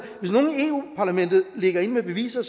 ligger inde med beviser